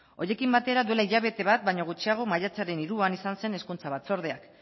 horiekin batera duela hilabete bat baino gutxiago maiatzaren hiruan izan zen hezkuntza batzordeak